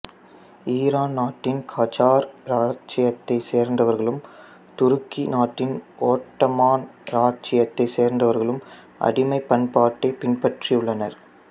Iran நாட்டின் Qajar இராச்சியத்தைச் சேர்ந்தவர்களும் துருக்கி நாட்டின் ஓட்டமான் இராச்சியத்தைச் சேர்ந்தவர்களும் அடிமைப் பண்பாட்டைப் பின்பற்றி உள்ளனர்